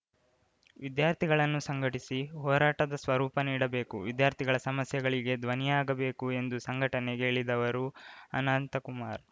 ವಿದ್ಯಾರ್ಥಿಗಳನ್ನು ಸಂಘಟಿಸಿ ಹೋರಾಟದ ಸ್ವರೂಪ ನೀಡಬೇಕು ವಿದ್ಯಾರ್ಥಿಗಳ ಸಮಸ್ಯೆಗಳಿಗೆ ಧ್ವನಿಯಾಗಬೇಕು ಎಂದು ಸಂಘಟನೆಗೆ ಇಳಿದವರು ಅನಂತಕುಮಾರ್‌